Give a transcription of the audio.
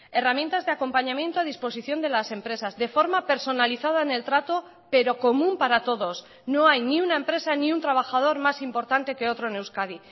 herramientas de acompañamiento a disposición de las empresas de forma personalizada en el trato pero común para todos no hay ni una empresa ni un trabajador más importante que otro en euskadi